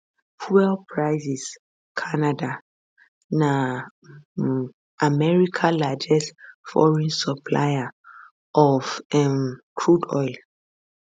fuel prices canada na um america largest foreign supplier of um crude oil